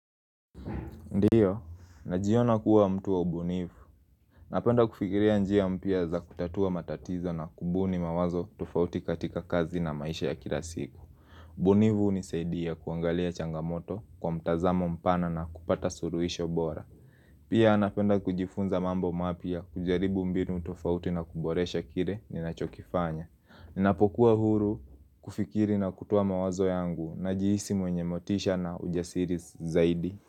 Ndiyo, najiona kuwa mtu wa ubunifu. Napenda kufikiria njia mpya za kutatua matatizo na kubuni mawazo tofauti katika kazi na maisha ya kila siku. Ubunifu hunisaidia kuangalia changamoto kwa mtazamo mpana na kupata suluhisho bora. Pia napenda kujifunza mambo mapya kujaribu mbinu tofauti na kuboresha kile ninachokifanya. Ninapokuwa huru kufikiri na kutoa mawazo yangu najiisi mwenye motisha na ujasiri zaidi.